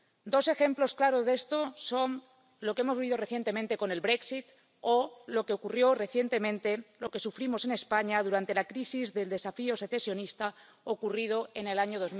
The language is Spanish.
Dos ejemplos claros de esto son lo que hemos vivido recientemente con el Brexit o lo que ocurrió recientemente, lo que sufrimos en España, durante la crisis del desafío secesionista ocurrido en el año